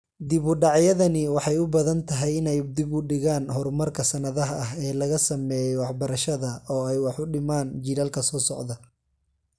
Dib-u-dhacyadani waxay u badan tahay inay dib u dhigaan horumarka sannadaha ah ee laga sameeyay waxbarashada oo ay wax u dhimaan jiilalka soo socda.